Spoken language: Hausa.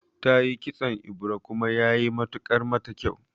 Tayi kitson ebira kuma yayi matukar mata kyau